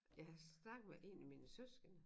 Jeg har snakket med en af mine søskende